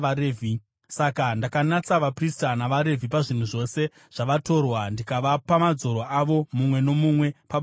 Saka ndakanatsa vaprista navaRevhi pazvinhu zvose zvavatorwa, ndikavapa madzoro avo, mumwe nomumwe pabasa rake.